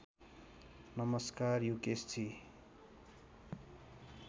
नमस्कार युकेशजी